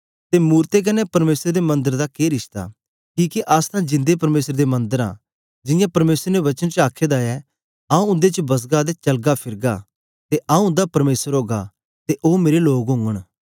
ते मूरतें कन्ने परमेसर दे मन्दर दा के रिश्ता किके अस तां जिंदे परमेसर दे मन्दर आं जियां परमेसर ने वचन च आखे दा ऐ आंऊँ उन्दे च बसगा ते चलगा फिरगा ते आंऊँ उन्दा परमेसर ओगा ते ओ मेरे लोग ओगन